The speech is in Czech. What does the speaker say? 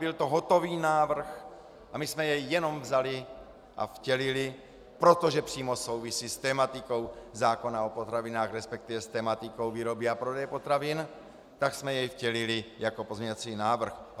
Byl to hotový návrh a my jsme jej jenom vzali a vtělili, protože přímo souvisí s tematikou zákona o potravinách, respektive s tematikou výroby a prodeje potravin, tak jsme jej vtělili jako pozměňovací návrh.